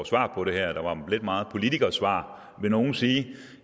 svar på det her der var lidt meget politikersvar vil nogle sige